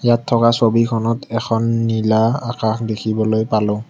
ইয়াত থকা ছবিখনত এখন নীলা আকাশ দেখিবলৈ পালো।